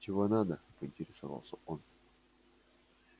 чего надо поинтересовался он